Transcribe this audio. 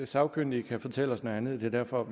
sagkyndige kan fortælle os noget andet og derfor